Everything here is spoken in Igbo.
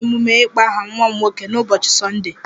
A ga-eme emume ịkpọ aha nwa m nwoke n'ụbọchị Sọnde